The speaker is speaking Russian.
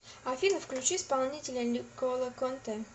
афина включи исполнителя никола контэ